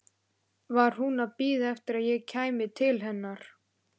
Það var gaman að þú gast komið, segir Hemmi.